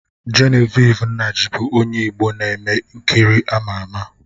Genevieve Nnaji bụ onye Igbo na-eme nkiri ama ama